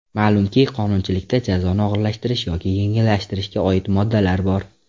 Ma’lumki, qonunchilikda jazoni og‘irlashtirish yoki yengillashtirishga oid moddalar bor.